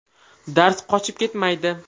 Dars qochib ketmaydi.